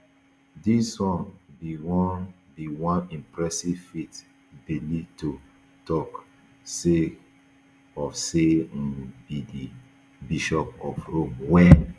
dis um be one be one impressive feat bellitto tok sake of say um e be di bishop of rome wen